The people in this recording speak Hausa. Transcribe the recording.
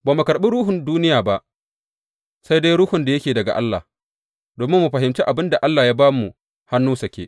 Ba mu karɓi ruhun duniya ba, sai dai Ruhun da yake daga Allah, domin mu fahimci abin da Allah ya ba mu hannu sake.